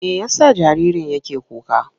Me ya sa jaririn yake kuka?